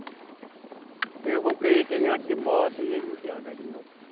Porque eles vão querer que ele anda de moto e ele não quer andar de moto.